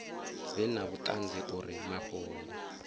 vhe na vhuṱanzi uri mafhungo